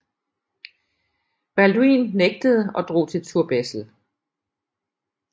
Balduin nægtede og drog til Turbessel